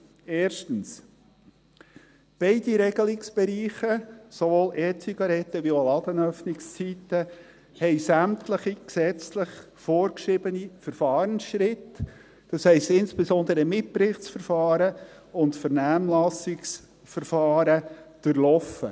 erstens: Beide Regelungsbereiche, sowohl E-Zigaretten als auch Ladenöffnungszeiten, haben sämtliche gesetzlich vorgeschriebenen Verfahrensschritte – das heisst insbesondere Mitberichtsverfahren und Vernehmlassungsverfahren – durchlaufen;